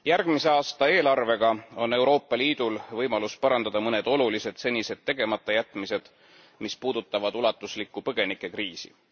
Järgmise aasta eelarvega on Euroopa Liidul võimalus parandada mõned olulised senised tegematajätmised, mis puudutavad ulatuslikku põgenikekriisi.